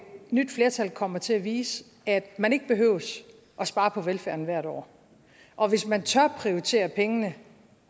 nyt flertal kommer til at vise at man ikke behøver at spare på velfærden hvert år og hvis man tør prioritere pengene